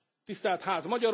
Tisztelt Ház!